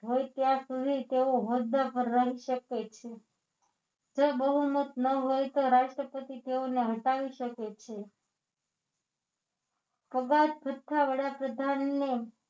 હોય ત્યાં સુધી તેઓ હોદ્દા પર રહી શકે છે જો બહુમત ન હોય તો રાષ્ટ્રપતિ તેઓને હટાવી શકે છે છઠ્ઠા વડાપ્રધાનને